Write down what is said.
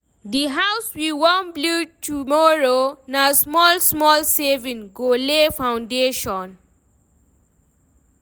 The house we wan build tomorrow, na small-small savings go lay foundation.